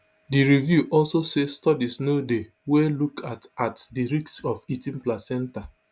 di review also say studies no dey wey look at at di risks of eating placenta